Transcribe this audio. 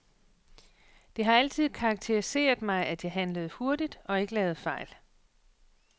Det har altid karakteriseret mig, at jeg handlede hurtigt og ikke lavede fejl.